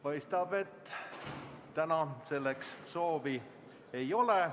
Paistab, et täna selleks soovi ei ole.